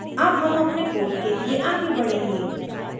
अब हम अपने code लिए आगे बढ़ेंगे